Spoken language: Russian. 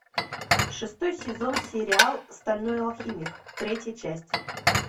шестой сезон сериал стальной алхимик третья часть